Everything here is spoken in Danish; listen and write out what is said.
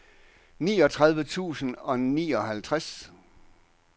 niogtredive tusind og nioghalvtreds